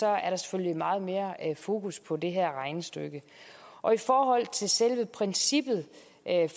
er der selvfølgelig meget mere fokus på det her regnestykke selve princippet